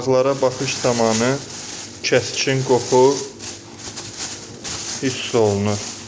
Balıqlara baxış zamanı kəskin qoxu hiss olunur.